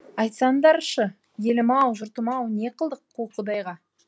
айтсаңдаршы елім ау жұртым ау не қылдық қу құдайға